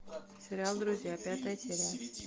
сериал друзья пятая серия